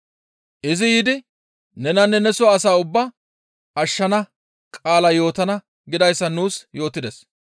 Izi yiidi nenanne neso asaa ubbaa ashshana qaala yootana› gidayssa nuus yootides.